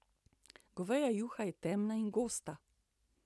Goveja juha je temna in gosta.